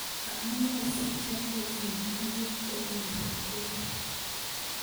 amune sichome iipe tuguuk eng melekwek